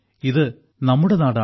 ഇത് നമ്മുടെ നാടാണ്